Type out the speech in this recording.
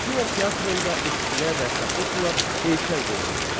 Afina teatrında Eskilə və Safokla heykəl qoyulmuşdu.